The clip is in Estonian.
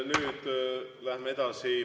Ja nüüd läheme edasi.